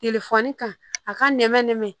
kan a ka nɛmɛn